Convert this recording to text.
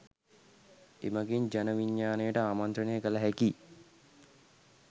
එමගින් ජන විඥානයට ආමන්ත්‍රණය කළ හැකි